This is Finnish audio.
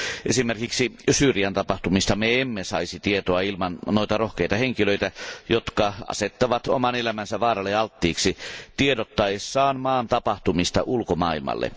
Esimerkiksi Syyrian tapahtumista me emme saisi tietoa ilman noita rohkeita henkilöitä, jotka asettavat oman elämänsä vaaralle alttiiksi tiedottaessaan maan tapahtumista ulkomaailmalle.